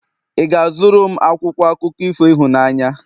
ị ga-azụrụ m akwụkwọ akụkọ ifo ịhụnanya?